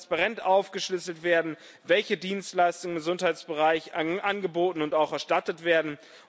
Es muss transparent aufgeschlüsselt werden, welche Dienstleistungen im Gesundheitsbereich angeboten und auch erstattet werden.